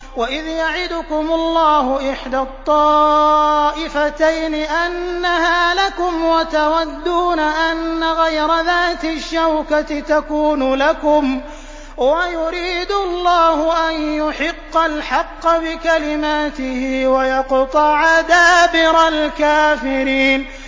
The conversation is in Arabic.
وَإِذْ يَعِدُكُمُ اللَّهُ إِحْدَى الطَّائِفَتَيْنِ أَنَّهَا لَكُمْ وَتَوَدُّونَ أَنَّ غَيْرَ ذَاتِ الشَّوْكَةِ تَكُونُ لَكُمْ وَيُرِيدُ اللَّهُ أَن يُحِقَّ الْحَقَّ بِكَلِمَاتِهِ وَيَقْطَعَ دَابِرَ الْكَافِرِينَ